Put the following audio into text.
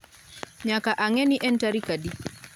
Nyaka ang'e ni en tarik adi